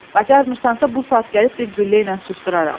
Bacarmırsansa bu saat gəlib bir güllə ilə susduraram!